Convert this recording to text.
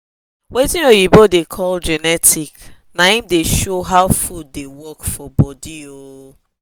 watin oyibo da call genetic na him da show how food da work for body ooo